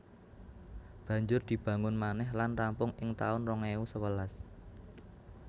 Banjur dibangun manèh lan rampung ing taun rong ewu sewelas